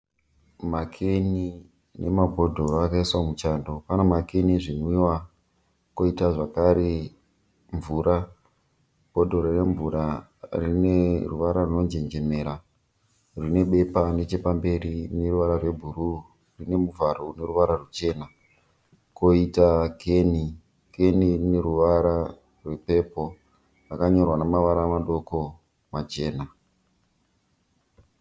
Makeni nemabhodhoro akaiswa muchando. Pane makeni ezvinwiwa poita zvakare mvura. Bhodhoro remvura rine ruvara runonjenjemera rune bepa nechepamberi rine ruvara rwebhuruu. Rine muvharo une ruvara ruchena, kwoita keni, keni ine ruvara rwepepo rwakanyorwa nemavara madoko machena.